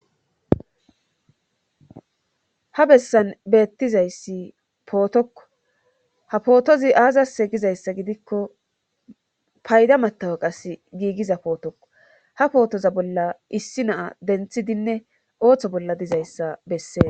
ha bessan beettizayssi pootokko ha pootozi aazase gizayssa gidikko payda matawe qas giigiza pootokko ha pootoza bolla issi naa denthidinne ooththo bolla dizayssa bessees